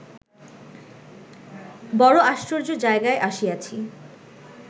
বড়ো আশ্চর্য জায়গায় আসিয়াছি